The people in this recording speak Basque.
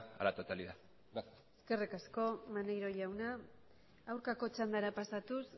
a la totalidad gracias eskerrik asko maneiro jauna aurkako txandara pasatuz